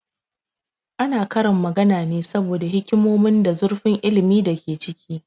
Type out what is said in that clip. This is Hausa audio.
Ana karin magana ne saboda hikimonin da zurfin ilmin da ke ciki